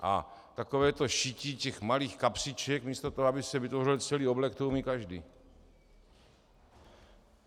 A takové to šití těch malých kapsiček místo toho, aby se vytvořil celý oblek, to umí každý.